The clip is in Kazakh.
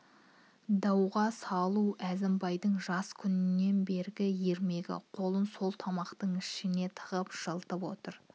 дауға салу әзімбайдың жас күнінен бергі ермегі қолын сол тымақтың ішіне тығып жылытып отыр